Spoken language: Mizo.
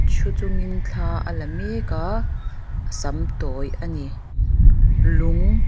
ṭhu chungin thla a la mek a a sam tawi ani lung--